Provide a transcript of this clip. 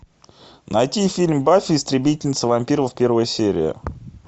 найти фильм баффи истребительница вампиров первая серия